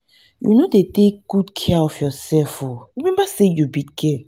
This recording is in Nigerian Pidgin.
um you no dey take take good care of yourself oo remember say you be girl